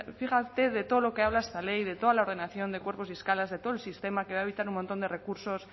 fíjate de todo lo que habla esta ley de toda la ordenación de cuerpos y escalas de todo el sistema que va a evitar un montón de recursos